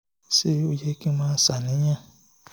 ṣé ó yẹ kí n máa ṣàníyàn?